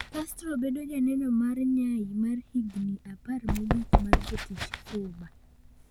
Castro bedo janeno mar nyai mar higini apar mogik mar jotich Cuba